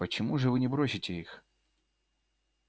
почему же вы не бросите их